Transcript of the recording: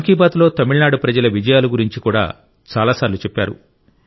మన్ కి బాత్ లో తమిళనాడు ప్రజల విజయాల గురించి కూడా చాలాసార్లు చెప్పారు